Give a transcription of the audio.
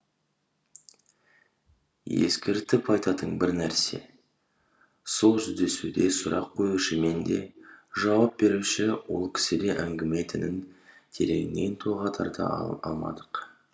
ескертіп айтатын бір нәрсе сол жүздесуде сұрақ қоюшы мен де жауап беруші ол кісі де әңгіме тінін тереңнен толғап тарта алмадық